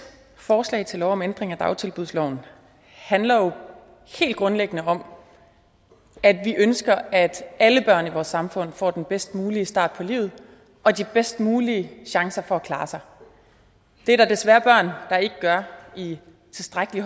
forslag til lov om ændring af dagtilbudsloven handler jo helt grundlæggende om at vi ønsker at alle børn i vores samfund får den bedst mulige start på livet og de bedst mulige chancer for at klare sig det er der desværre børn der ikke gør i tilstrækkelig